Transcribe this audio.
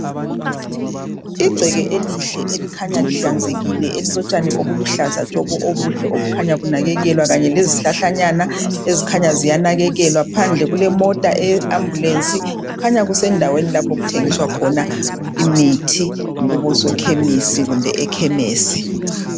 igceke elihle elikhanya lihlanzekile elilotshani obuluhlaza tshoko obuhle obukhanya bunakekelwa kanye lezihlahlanyana ezikhanya ziyanakekelwa phandle kulemota eye ambulence kukhanya kusendaweni lapho okuthengiswa khona imithi kubosokhemisi kumbe ekhemisi